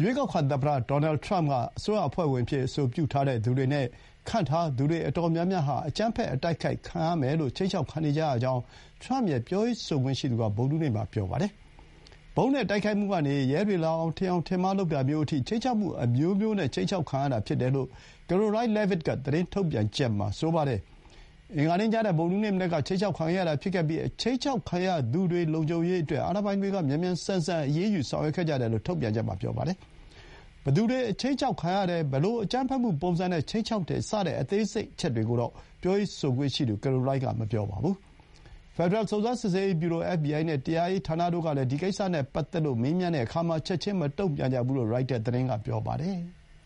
ရွေးကောက်ခံ သမ္မတ ဒေါ်နယ်ထရမ့် က အစိုးရအဖွဲ့ဝင်အဖြစ် အဆိုပြုထားတဲ့သူတွေ နဲ့ ခန့်ထားသူတွေ အတော်များများ ဟာ အကြမ်းဖက် အတိုက်ခိုက်ခံရမယ်လို့ ခြိမ်းခြောက်ခံနေကြရကြောင်း ထရမ့်ရဲ့ ပြောရေးဆိုခွင့်ရှိသူက ဗုဒ္ဓဟူးနေ့မှာ ပြောပါတယ်။ ဗုံးနဲ့ တိုက်ခိုက်မှုကနေ ရဲတွေလာအောင် ထင်ယောင်ထင်မှား လုပ်တာမျိုးအထိ ခြိမ်းခြောက်မှုအမျိုးမျိုး နဲ့ ခြိမ်းခြောက်ခံရတာ ဖြစ်တယ်လို့ Karoline Leavitt က သတင်းထုတ်ပြန်ချက် မှာ ပြောပါတယ်။ အင်္ဂါနေ့ ညနဲ့ ဗုဒ္ဓဟူးနေ့မနက် က ခြိမ်းခြောက်ခံခဲ့ရတာ ဖြစ်ခဲ့ပြီး ခြိမ်းခြောက်ခံရသူတွေ လုံခြုံရေးအတွက် အာဏာပိုင်တွေက မြန်မြန်ဆန်ဆန် အရေးယူ ဆောင်ရွက်ခဲ့ကြတယ်လို့ ထုတ်ပြန်ချက်မှာ ဆိုပါတယ်။ ဘယ်သူတွေ ခြိမ်းခြောက်ခံရတယ်၊ ဘယ်လို အကြမ်းဖက်မှု ပုံစံနဲ့ ခြိမ်းခြောက်တယ် စတဲ့ အသေးစိတ်တွေကိုတော့ ပြောရေးဆိုခွင့်ရှိသူ ကရိုလိုင်းက မပြောပါဘူး။ ဖက်ဒရယ် စုံစမ်းစစ်ဆေးရေး ဗျူရို အက်ဖ်ဘီအိုင်နဲ့ တရားရေး ဌာနတို့ကလည်း ဒီကိစ္စနဲ့ ပတ်သက်လို့ မေးမြန်းတဲ့အခါ ချက်ချင်း မတုံ့ပြန်ကြဘူး လို့ ရိုက်တာ သတင်းက ပြောပါတယ်။